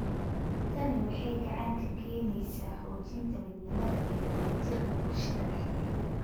Tani waxay gacan ka geysaneysaa xoojinta midnimada iyo wadajirka bulshada dhexdeeda.